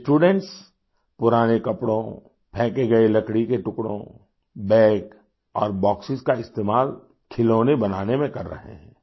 ये स्टूडेंट्स पुराने कपड़ों फेंके गए लकड़ी के टुकड़ों बाग और बॉक्सों का इस्तेमाल खिलौने बनाने में कर रहे हैं